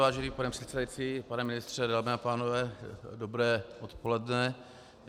Vážený pane předsedající, pane ministře, dámy a pánové, dobré odpoledne.